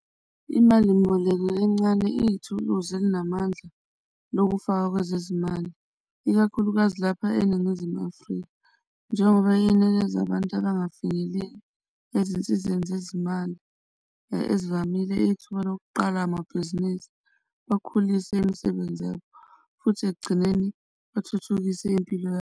Imalimboleko encane iyithuluzi elinamandla lokufaka kwezezimali, ikakhulukazi lapha eNingizimu Afrika, njengoba yinikeza abantu abangafinyeleli ezinsizeni zezimali ezivamile ithuba lokuqala amabhizinisi bakhulise imisebenzi yabo futhi ekugcineni bathuthukise impilo.